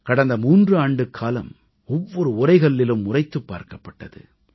கடந்த 3 ஆண்டுக்காலம் ஒவ்வொரு உரைகல்லிலும் உரைத்துப் பார்க்கப்பட்டது